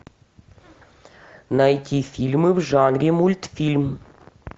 найти фильмы в жанре мультфильм